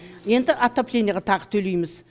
енді отопленияға тағы төлейміз